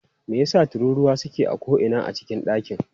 Me yasa tururuwa suke a ko'ina a cikin dakin?